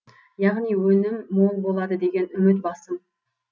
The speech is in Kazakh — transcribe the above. яғни өнім мол болады деген үміт басым